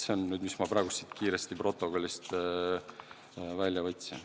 See on see, mis ma praegu kiiresti siit protokollist välja võtsin.